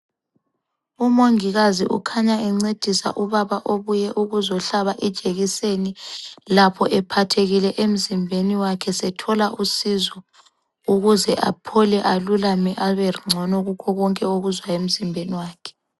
Umongikazi ukhanya encedisa ubaba obuye ukuzohlaba ijekiseni lapho ephathekile emzimbeni wakhe sethola usizo ,ukuze aphole alulame abengcono kukho konke akuzwayo emzimbeni wakhe.